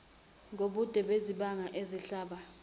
ngobude bezibani ezihlaba